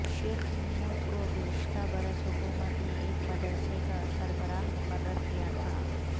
شیخ محمود کو گزشتہ برس حکومت نے ایک مدرسے کا سربراہ مقرر کیا تھا